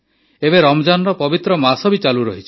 ଏବେ ରମଜାନର ପବିତ୍ର ମାସ ବି ଚାଲୁରହିଛି